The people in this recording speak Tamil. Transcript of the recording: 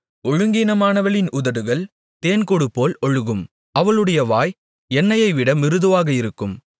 ஒழுங்கீனமானவளின் உதடுகள் தேன்கூடுபோல் ஒழுகும் அவளுடைய வாய் எண்ணெயைவிட மிருதுவாக இருக்கும்